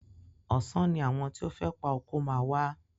Ọ̀sán ni àwọn tí o fẹ́ pa oko máa wá.